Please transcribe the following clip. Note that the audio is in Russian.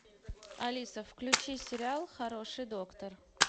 алиса включи сериал хороший доктор